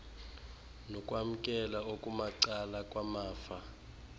nokwamkela okumacala kwamafa